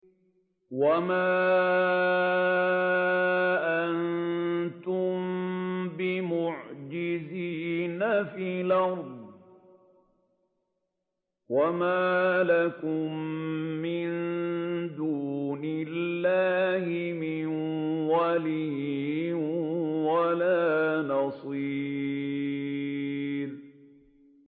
وَمَا أَنتُم بِمُعْجِزِينَ فِي الْأَرْضِ ۖ وَمَا لَكُم مِّن دُونِ اللَّهِ مِن وَلِيٍّ وَلَا نَصِيرٍ